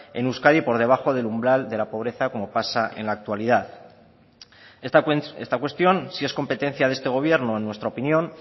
en euskadi por debajo del umbral de la pobreza como pasa en la actualidad esta cuestión sí es competencia de este gobierno en nuestra opinión